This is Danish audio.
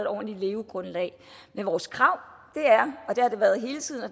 ordentligt levegrundlag men vores krav